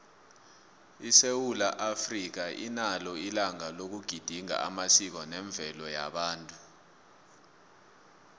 isewula africa inalo ilanga loku gedinga amasiko nemvelaphi yabantu